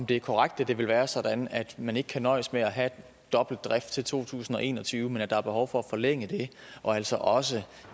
det korrekt at det vil være sådan at man ikke kan nøjes med at have dobbelt drift til to tusind og en og tyve men at der er behov for at forlænge det og altså også